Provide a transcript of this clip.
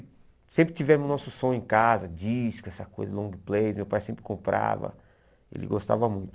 E sempre tivemos o nosso som em casa, disco, essa coisa, long play, meu pai sempre comprava, ele gostava muito.